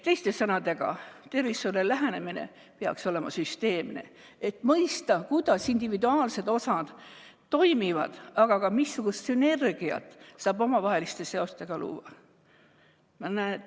Teiste sõnadega, tervishoiule lähenemine peaks olema süsteemne, et mõista, kuidas individuaalsed osad toimivad, aga ka missugust sünergiat saab omavaheliste seostega luua.